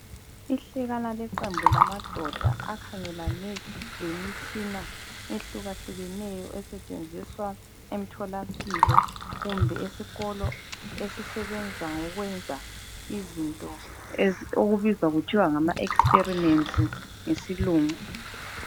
Ihlekana leqembu lamadoda akhangelane lemitshina ehlukahlukeneyo esetshenziswa emtholampilo kumbe esikolo esisebenza ngokwenza izinto okubizwa kuthwe ngama experiments ngesilungu.